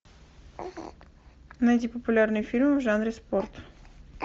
найди популярные фильмы в жанре спорт